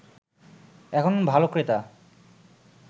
এখনো ভালো ক্রেতার